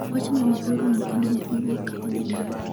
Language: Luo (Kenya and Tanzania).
wachno ne orumo kendo ne owuok ka odhi dala